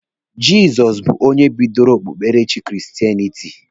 Jizọs bụ onye bidoro okpukperechi kristenịtị